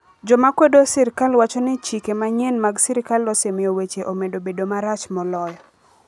Joma kwedo sirkal wacho ni chike manyien mag sirikal osemiyo weche omedo bedo marach moloyo.